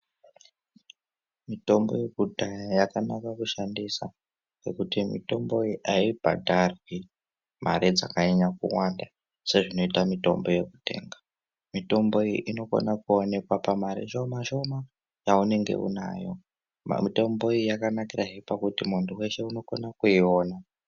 Mitombo yekudhaya yakanaka kuishandisa nekuti mitombo iyi ayibhadharwi mare dzakanyanya kuwanda sezvinoitwa mitombo yekutenga. Mitombo iyi inokone kuonekwa pamari shoma shoma yaunenge unayo. Mitombo iyi yakanakirahe pakuti munhu weshe unokone kuiona.